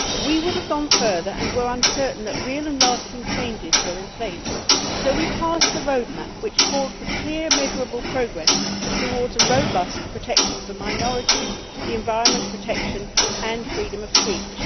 We would have gone further, and were uncertain that real and lasting changes were in place, so we passed the roadmap, which called for clear, measurable progress towards robust protection for minorities, environment protection and freedom of speech.